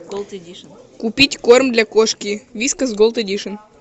купить корм для кошки вискас голд эдишн